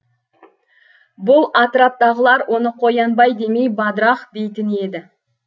бұл атыраптағылар оны қоянбай демей бадырақ дейтін еді